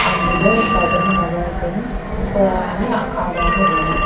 అందులో ఒకతను మగతను ఇంకో ఆమె ఆడ ఆమె ఉంది.